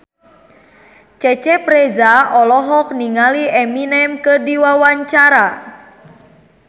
Cecep Reza olohok ningali Eminem keur diwawancara